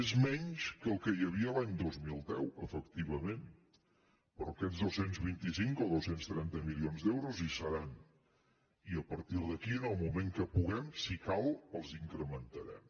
és menys que el que hi havia l’any dos mil deu efectivament però aquests dos cents i vint cinc o dos cents i trenta milions d’euros hi seran i a partir d’aquí en el moment que puguem si cal els incrementarem